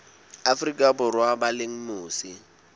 afrika borwa ba leng mose